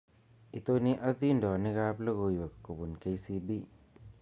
Itoni adindonikab logoiwek kobun K.C.B